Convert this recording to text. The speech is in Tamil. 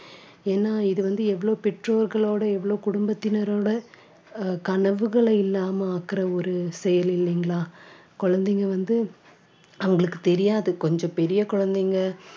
ஏன்னா இது வந்து எவ்வளவு பெற்றோர்களோட எவ்வளவு குடும்பத்தினரோட அஹ் கனவுகளை இல்லாம ஆக்குற ஒரு செயல் இல்லைங்களா குழந்தைங்க வந்து அவங்களுக்கு தெரியாது கொஞ்சம் பெரிய குழந்தைங்க